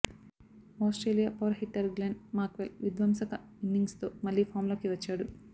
Australia power hitter Glenn Maxwell విధ్వంసక ఇన్నింగ్స్తో మళ్లీ ఫామ్లోకి వచ్చాడు